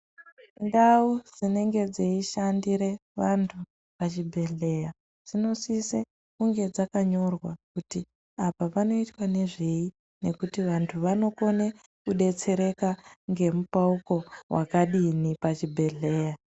Ndau dzinenge dzeishandire vantu pachibhedhlera dzinosise kunge dzakanyorwa kuti apa panoitwa nezvei nekuti vantu vanokone kudetsereka ngemupauko wakadini pachibhedhlera.